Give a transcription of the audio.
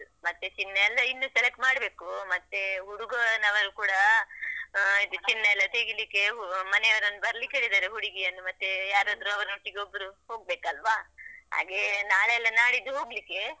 ಮತ್ತೆ ಚಿನ್ನ ಎಲ್ಲ ಇನ್ನು select ಮಾಡ್ಬೇಕು, ಮತ್ತೆ ಹುಡುಗನವರು ಕೂಡ ಆ ಇದು ಚಿನ್ನ ಎಲ್ಲ ತೆಗೀಲಿಕ್ಕೆ ಮನೆಯವರನ್ನು ಬರ್ಲಿಕ್ಕೆ ಹೇಳಿದ್ದಾರೆ, ಹುಡುಗಿಯನ್ನು ಮತ್ತೆ ಯಾರಾದ್ರು ಅವಳೊಟ್ಟಿಗೆ ಒಬ್ರು ಹೋಗ್ಬೇಕಲ್ವಾ, ಹಾಗೆ ನಾಳೆ ಅಲ್ಲ ನಾಡಿದ್ದು ಹೋಗ್ಲಿಕ್ಕೆ.